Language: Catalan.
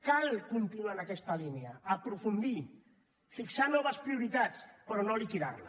cal continuar en aquest línia aprofundir hi fixar noves prioritats però no liquidar la